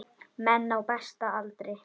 Menn á besta aldri.